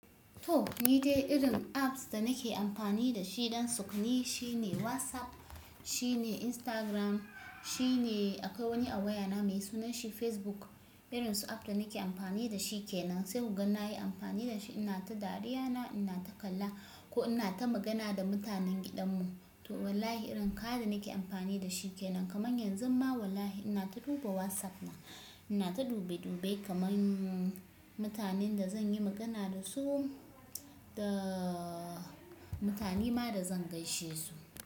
To, ni dai irin apps da nake amfani da shi don sukuni shine WhatsApp, shine Instagram, shine akwai wani a waya na mai sunan shi Facebook. Irin su app da nake amfani da shi ke nan, sai kuga nayi amfani da shi ina ta dariya na, ina ta kalla ko ina ta magana da mutanen gidan mu. To wallahi irin kaya da nake amfani da shi ke nan. Kaman yanzu ma wallahi ina ta duba WhatsApp na, ina ta dube dube kaman mutanen da zan yi magana da su da mutane ma da zan gaishe su.